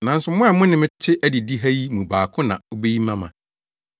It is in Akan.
Nanso mo a mo ne me te adidii ha yi mu baako na obeyi me ama.